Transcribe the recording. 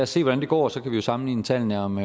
se hvordan det går og så kan vi jo sammenligne tallene om